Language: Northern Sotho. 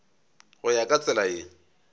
go ya ka tsela ye